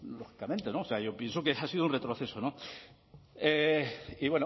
lógicamente yo pienso que ha sido un retroceso y